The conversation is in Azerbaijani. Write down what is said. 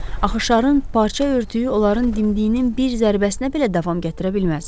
Axı şarın parça örtüyü onların dimdiyinin bir zərbəsinə belə davam gətirə bilməz.